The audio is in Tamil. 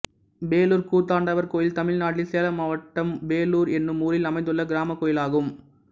பேளூர் கூத்தாண்டவர் கோயில் தமிழ்நாட்டில் சேலம் மாவட்டம் பேளூர் என்னும் ஊரில் அமைந்துள்ள கிராமக் கோயிலாகும்